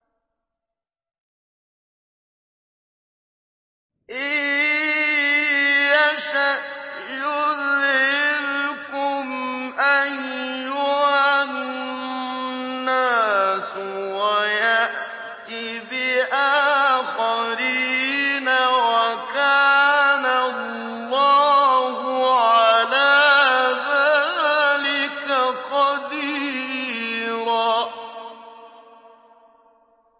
إِن يَشَأْ يُذْهِبْكُمْ أَيُّهَا النَّاسُ وَيَأْتِ بِآخَرِينَ ۚ وَكَانَ اللَّهُ عَلَىٰ ذَٰلِكَ قَدِيرًا